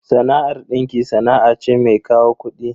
Sana'ar dinki sana'a ce mai kawo kudi.